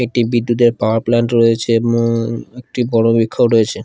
একটি বিদ্যুতের power plant রয়েছে উম একটি রয়েছে ।